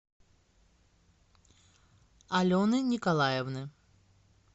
алены николаевны